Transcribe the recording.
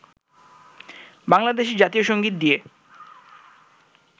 বাংলাদেশের জাতীয় সংগীত দিয়ে